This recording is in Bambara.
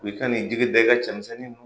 U bɛ fɛn nin bɛɛ ka cɛmisɛnnin